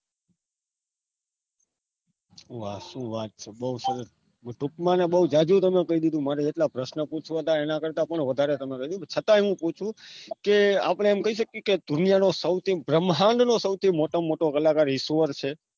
વાહ સુ વાત છે બહુ સરસ ટૂંકમાં અને બહુ જાજુ તમે કહી દીધું મારે એટલા પ્રસ્નો પૂછવા હતા એના કરતા પણ વધારે તમે કઈ દીધું છતા હું પુછુ કે આપણે એમ કઈ શકીએ કે દુનિયા નું સૌથી બ્રહ્માંડ નું સૌથી મોટામાં મોટો કલાકાર ઈશ્વર છે